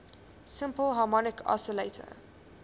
simple harmonic oscillator